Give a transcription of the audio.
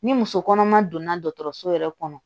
Ni muso kɔnɔma donna dɔgɔtɔrɔso yɛrɛ kɔnɔ